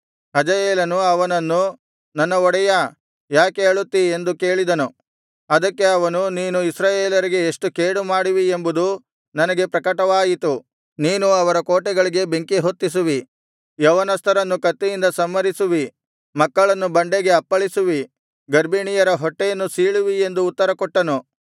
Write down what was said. ಹಜಾಯೇಲನು ಅವನನ್ನು ನನ್ನ ಒಡೆಯಾ ಯಾಕೆ ಅಳುತ್ತಿ ಎಂದು ಕೇಳಿದನು ಅದಕ್ಕೆ ಅವನು ನೀನು ಇಸ್ರಾಯೇಲರಿಗೆ ಎಷ್ಟು ಕೇಡು ಮಾಡುವಿ ಎಂಬುದು ನನಗೆ ಪ್ರಕಟವಾಯಿತು ನೀನು ಅವರ ಕೋಟೆಗಳಿಗೆ ಬೆಂಕಿ ಹೊತ್ತಿಸುವಿ ಯೌವನಸ್ಥರನ್ನು ಕತ್ತಿಯಿಂದ ಸಂಹರಿಸುವಿ ಮಕ್ಕಳನ್ನು ಬಂಡೆಗೆ ಅಪ್ಪಳಿಸುವಿ ಗರ್ಭಿಣಿಯರ ಹೊಟ್ಟೆಯನ್ನು ಸೀಳುವಿ ಎಂದು ಉತ್ತರಕೊಟ್ಟನು